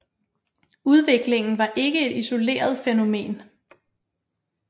Udviklingen var ikke et isoleret fænomen